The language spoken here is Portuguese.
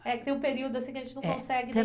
É que tem um período assim que a gente não consegue